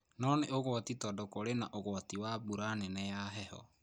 no nĩ ũgwati tondũ kũrĩ na ũgwati wa mbura nene ya heho.